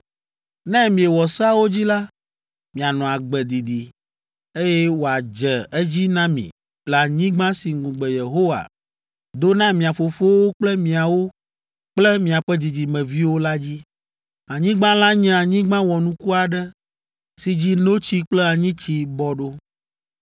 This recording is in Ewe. Ne miewɔ seawo dzi la, mianɔ agbe didi, eye wòadze edzi na mi le anyigba si ŋugbe Yehowa do na mia fofowo kple miawo kple miaƒe dzidzimeviwo la dzi. Anyigba la nye anyigba wɔnuku aɖe si dzi ‘notsi kple anyitsi bɔ ɖo!’